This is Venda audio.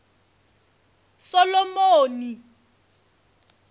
solomoni